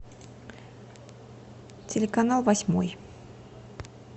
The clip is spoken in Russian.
телеканал восьмой